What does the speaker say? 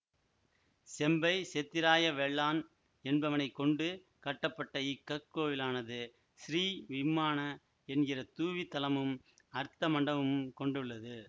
செம்பை செத்திராய வெள்ளான் என்பவனைக் கொண்டு கட்டப்பட்ட இக் கற்கோவிலானது ஸ்ரீ விம்மானா என்கிற தூவித் தலமும் அர்த்த மண்டபமும் கொண்டுள்ளது